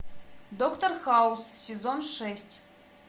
доктор хаус сезон шесть